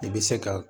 I bɛ se ka